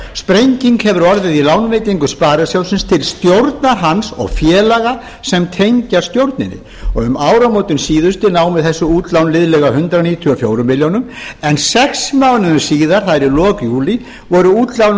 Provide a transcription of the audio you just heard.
sprenging hefur orðið í lánveitingum sparisjóðsins til stjórnar hans og félaga sem tengjast stjórninni um áramótin síðustu námu þessi útlán liðlega hundrað níutíu og fjórum milljónum en sex mánuðum síðar það er í lok júlí voru útlánin